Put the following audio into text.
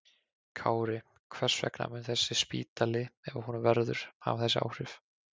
Kári, hvers vegna mun þessi spítali, ef af honum verður, hafa þessi áhrif?